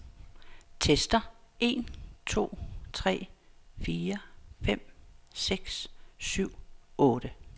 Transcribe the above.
Tester en to tre fire fem seks syv otte.